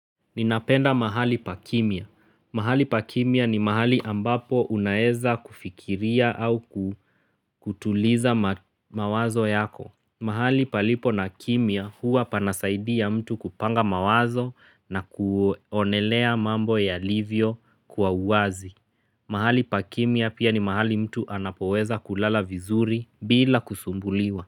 Ninapenda mahali pa kimya. Mahali pa kimya ni mahali ambapo unaeza kufikiria au kutuliza mawazo yako. Mahali palipo na kimia huwa pana saidia mtu kupanga mawazo na kuonelea mambo yalivyo kwa wazi. Mahali pa kimya pia ni mahali mtu anapoweza kulala vizuri bila kusumbuliwa.